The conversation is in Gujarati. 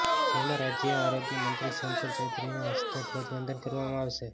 જેમાં રાજ્ય આરોગ્ય મંત્રી શંકર ચૌધરીના હસ્તે ધ્વજવંદન કરવામાં આવશે